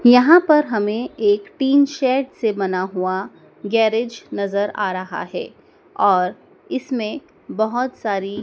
यहां पर हमें एक टीन शेड से बना हुआ गैरेज नजर आ रहा है और इसमें बहोत सारी--